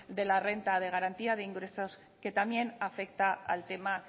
de la renta de garantía de ingresos que también afecta al tema